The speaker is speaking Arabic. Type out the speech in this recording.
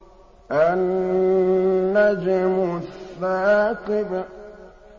النَّجْمُ الثَّاقِبُ